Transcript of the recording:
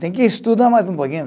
Tem que estudar mais um pouquinho.